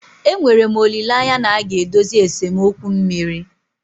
Enwere m olileanya na a ga-edozi esemokwu mmiri.